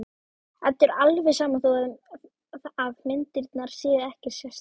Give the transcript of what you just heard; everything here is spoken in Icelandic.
Eddu er alveg sama þó að myndirnar séu ekkert sérstakar.